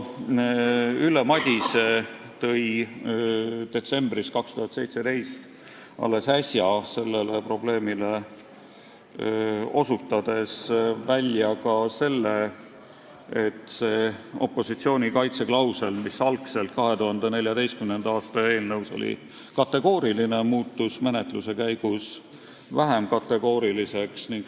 Ülle Madise tõi detsembris 2017, alles äsja, sellele probleemile osutades välja, et see opositsiooni kaitse klausel, mis 2014. aasta eelnõus oli kategooriline, muutus menetluse käigus vähem kategooriliseks.